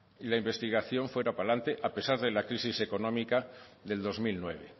y la investigación fuera para adelante a pesar de la crisis económica del dos mil nueve